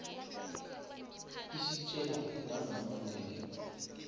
isitjela nanga mandela